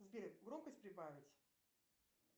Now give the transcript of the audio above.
сбер громкость прибавить